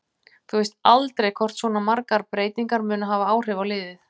Þú veist aldrei hvort svona margar breytingar munu hafa áhrif á liðið.